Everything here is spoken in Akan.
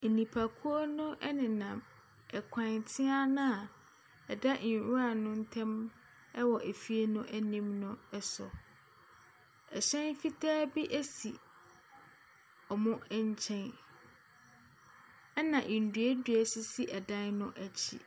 Nnipakuo no nenam kwan tea no a ɛda nwura ne ntam wɔ fie no anim no so. Hyɛn fitaa bi si wɔn nkyɛn, na nnuannua sisi dan no akyi.